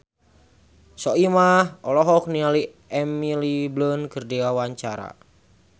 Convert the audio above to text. Soimah olohok ningali Emily Blunt keur diwawancara